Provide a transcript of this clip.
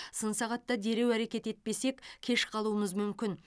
сын сағатта дереу әрекет етпесек кеш қалуымыз мүмкін